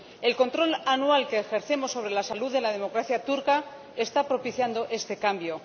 El control anual que ejercemos sobre la salud de la democracia turca está propiciando este cambio.